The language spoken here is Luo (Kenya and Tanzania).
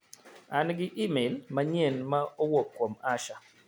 An gi imel manyien ma owuok kuom Asha.